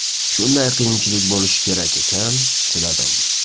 Shunday qiyinchilik bo‘lishi kerak ekan, chidadim.